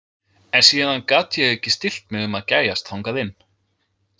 En síðan gat ég ekki stillt mig um að gægjast þangað inn.